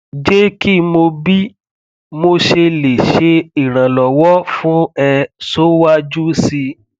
je ki mo bi mosele se iranlowo fun e so waju si